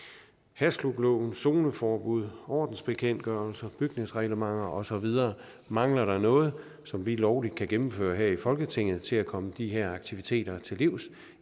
hashklubloven zoneforbud ordensbekendtgørelse bygningsreglementer og så videre mangler der noget som vi lovligt kan gennemføre her i folketinget til at komme de her aktiviteter til livs